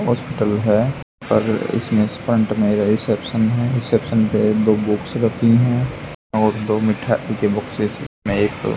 hospital है और इसमें फ्रंट में रिसेप्शन है रिसेप्शन पे दो बुक्स रखी है और दो मिठाई के बॉक्सेस में एक --